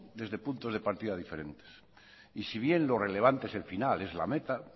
desde puntos de partida diferentes y si bien lo relevante es el final es la meta